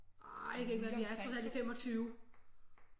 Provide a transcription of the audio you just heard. Ej det kan ikke være rigtigt vi er trods alt i 25